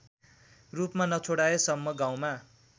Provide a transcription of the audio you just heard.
रूपमा नछोडाएसम्म गाउँमा